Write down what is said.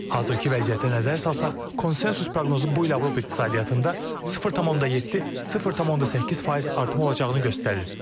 Hazırki vəziyyətə nəzər salsaq, konsensus proqnozu bu il Avropa iqtisadiyyatında 0.7-0.8 faiz artım olacağını göstərir.